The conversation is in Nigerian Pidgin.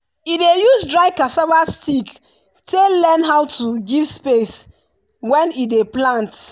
e dey use dry cassava stick take learn how to give space when e dey plant.